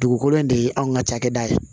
Dugukolo in de ye anw ka cakɛda ye